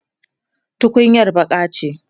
tukunyar baƙa ce